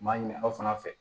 M'a ɲinin aw fana fɛ